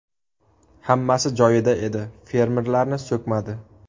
Hammasi joyida edi, fermerlarni so‘kmadi.